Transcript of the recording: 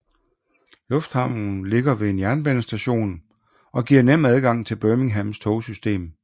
Lufthavnen ligger ved en jernbanestation og giver nem adgang til Birminghams togsystem